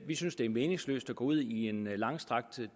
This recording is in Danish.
vi synes det er meningsløst at gå ud i en langstrakt